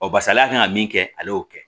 Ɔ barisa n'a kan ka min kɛ ale y'o kɛ